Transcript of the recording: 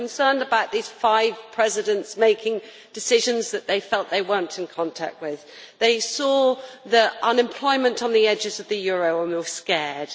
they were concerned about the five presidents making decisions that they felt they were not in contact with. They saw the unemployment on the edges of the euro and were scared.